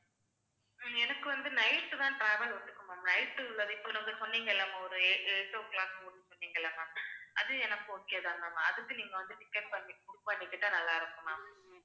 உம் எனக்கு வந்து night தான் travel ஒத்துக்கும் ma'am, night இப்ப நீங்க சொன்னீங்கள்ல ஒரு ei~ eight o'clock சொன்னீங்கள்ல ma'am அது, எனக்கு okay தான் ma'am அதுக்கு, நீங்க வந்து ticket பண்ணி book பண்ணிக்கிட்டா நல்லா இருக்கும் ma'am